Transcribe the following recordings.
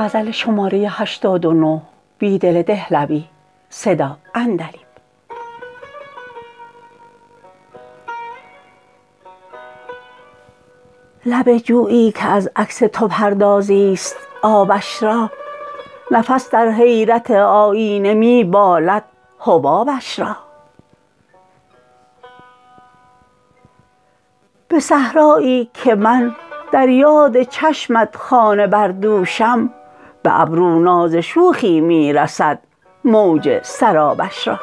لب جویی که از عکس تو پردازی ست آبش را نفس در حیرت آیینه می بالد حبابش را به صحرایی که من در یاد چشمت خانه بردوشم به ابرو ناز شوخی می رسد موج سرابش را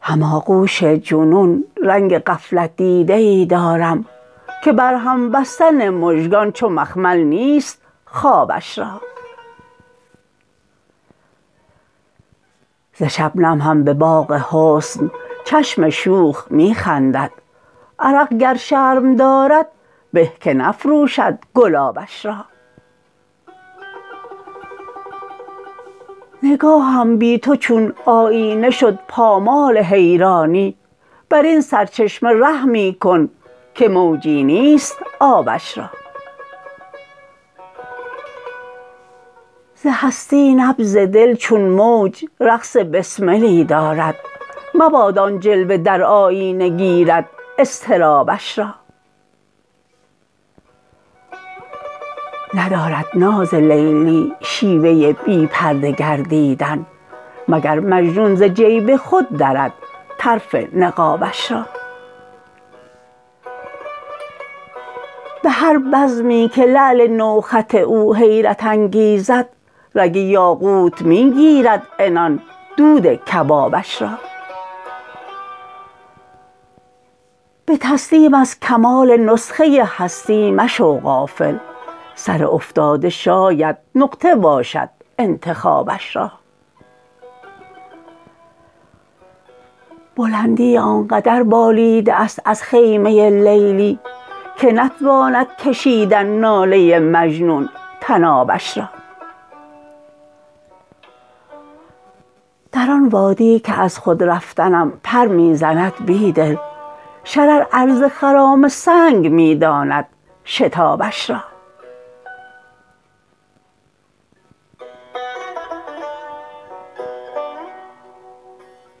هماغوش جنون رنگ غفلت دیده ای دارم که برهم بستن مژگان چو مخمل نیست خوابش را ز شبنم هم به باغ حسن چشم شوخ می خندد عرق گر شرم دارد به که نفروشد گلابش را نگاهم بی تو چون آیینه شد پامال حیرانی براین سرچشمه رحمی کن که موجی نیست آبش را ز هستی نبض دل چون موج رقص بسملی دارد مباد آن جلوه در آیینه گیرد اضطرابش را ندارد ناز لیلی شیوه بی پرده گردیدن مگر مجنون ز جیب خود درد طرف نقابش را به هر بزمی که لعل نوخط او حیرت انگیزد رگ یاقوت می گیرد عنان دودکبابش را به تسلیم از کمال نسخه هستی مشو غافل سر افتاده شاید نقطه باشد انتخابش را بلندی آنقدر بالیده است از خیمه لیلی که نتواندکشیدن ناله مجنون طنابش را در آن وادی که از خود رفتنم پر می زند بیدل شرر عرض خرام سنگ می داند شتابش را